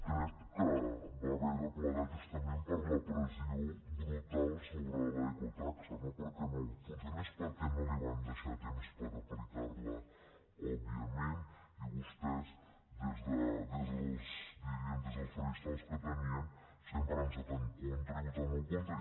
crec que va haver de plegar justament per la pressió brutal sobre l’ecotaxa no perquè no funcionés perquè no li van deixar temps per aplicar la òbviament i vostès diríem des dels faristols que tenien sempre hi han estat en contra i votant hi en contra